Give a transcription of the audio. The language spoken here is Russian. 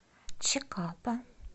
чикапа